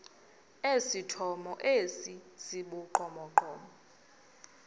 esithomo esi sibugqomogqomo